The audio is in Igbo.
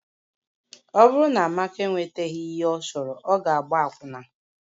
Ọ bụrụ na Amaka enwetaghị ihe ọ chọrọ, ọ ga-agba akwụna